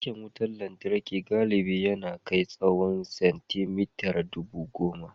Tirken wutar lantarki galibi ya na kai tsawan centimeter dubu goma.